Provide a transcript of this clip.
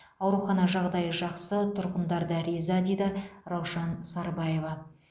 аурухана жағдайы жақсы тұрғындар да риза дейді раушан сарбаева